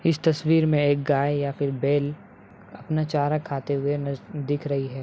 इस तस्वीर में एक गाय या फिर बैल अपना चारा खाते हुए नज़- दिख रही हैं।